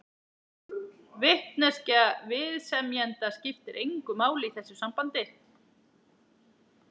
Vitneskja viðsemjenda skiptir engu máli í þessu sambandi.